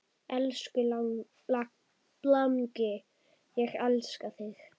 Elsku langi, ég elska þig.